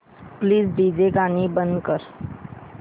please DJ गाणी बंद कर